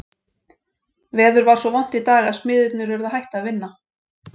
Veður var svo vont í dag að smiðirnir urðu að hætta að vinna.